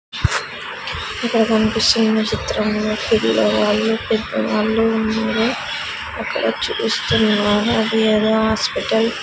ఇక్కడ కనిపిస్తున్న చిత్రంలో పిల్లవాళ్ళు పెద్దవాళ్లు ఉన్నారు అక్కడ చూస్తున్నారు అది ఏదో హాస్పిటల్ .